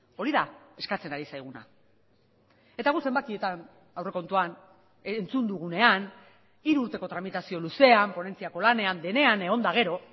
hori da eskatzen ari zaiguna eta gu zenbakietan aurrekontuan entzun dugunean hiru urteko tramitazio luzean ponentziako lanean denean egon eta gero